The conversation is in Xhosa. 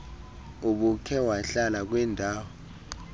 ubukhe wahlala kwindaw